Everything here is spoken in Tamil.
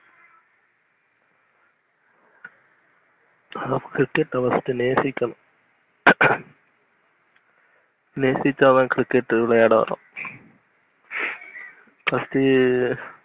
அதுக்கு first cricket அநேசிக்கணும் நேசிச்சாதன் cricket விளையாடவரும். first அஹ்